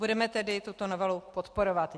Budeme tedy tuto novelu podporovat.